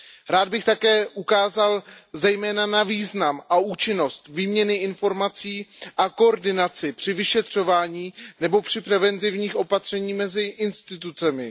Rád bych také poukázal zejména na význam a účinnost výměny informací a koordinaci při vyšetřování nebo při preventivních opatřeních mezi institucemi.